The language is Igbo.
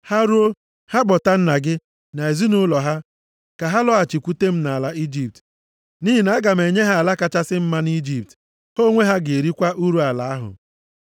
Ha ruo, ha kpọta nna gị, na ezinaụlọ ha, ka ha lọghachikwute m nʼala Ijipt. Nʼihi na aga m enye ha ala kachasị mma nʼIjipt. Ha onwe ha ga-erikwa uru ala ahụ.